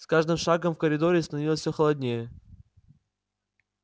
с каждым шагом в коридоре становилось всё холоднее